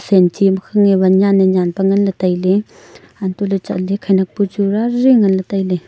senchi makhange wan nyan nyan pe ngan le taile antohle chatle khanyak bu chu rari ngan le taile.